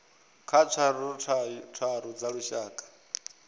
kha tswayo tharu dza lushaka